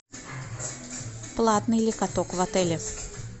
платный ли каток в отеле